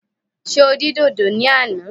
Ṣé o dín dòdò ní àná?